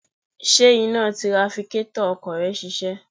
Ṣé iná tirafikétọ̀ ọkọ̀ rẹ ń ṣiṣẹ́?